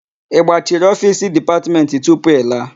Ị gbachiri ofiisi Dipatmentị tupu ị laa?